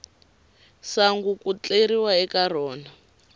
sangu ku tleriwa eka rona